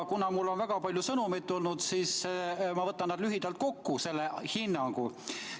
Kuna mulle on väga palju sõnumeid tulnud, siis ma võtan selle hinnangu lühidalt kokku.